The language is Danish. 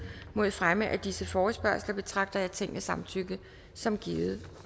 mod fremme af disse forespørgsler betragter jeg tingets samtykke som givet